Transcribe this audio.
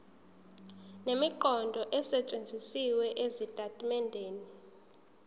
nemiqondo esetshenzisiwe ezitatimendeni